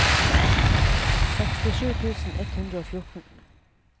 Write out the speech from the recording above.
sekstisju tusen ett hundre og fjorten